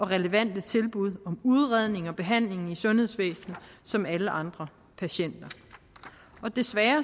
relevante tilbud om udredning og behandling i sundhedsvæsenet som alle andre patienter og desværre